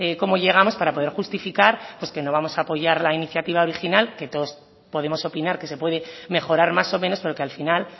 cómo llegamos para poder justificar que no vamos a apoyar la iniciativa original que todos podemos opinar que se puede mejorar más o menos pero que al final